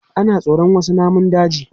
Ana tsoron wasu namun daji.